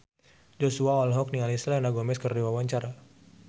Joshua olohok ningali Selena Gomez keur diwawancara